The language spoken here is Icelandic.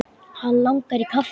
Hann langar í kaffi.